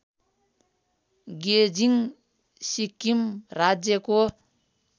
गेजिङ सिक्किम राज्यको